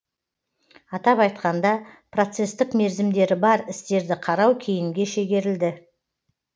атап айтқанда процестік мерзімдері бар істерді қарау кейінге шегерілді